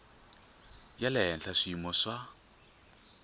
ya le henhla swiyimo swa